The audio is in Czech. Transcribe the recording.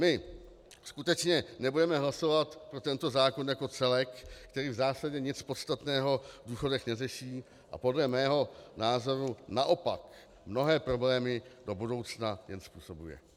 My skutečně nebudeme hlasovat pro tento zákon jako celek, který v zásadě nic podstatného v důchodech neřeší a podle mého názoru naopak mnohé problémy do budoucna jen způsobuje.